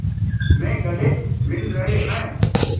में गले मिल रहे हैं